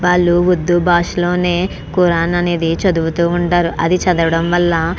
వాళ్లు ఉర్దూ భాషలోనే కూరన్ అనేది చదువుతూ ఉంటారు అది చదవడం వళ్ళ --